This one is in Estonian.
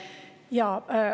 Jaa.